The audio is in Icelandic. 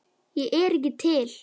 Ég er ekki til.